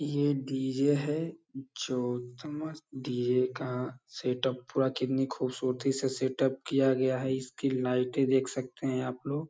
ये डीजे है जो डीजे का सेटअप पूरा कितनी खूबसूरती से सेटअप किया गया है इसकी लाइटें देख सकते हैं आप लोग |